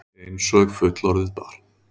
Einsog fullorðið barn.